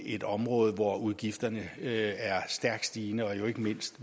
et område hvor udgifterne er stærkt stigende ikke mindst